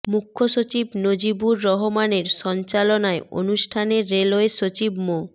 মুখ্য সচিব নজিবুর রহমানের সঞ্চালনায় অনুষ্ঠানে রেলওয়ে সচিব মো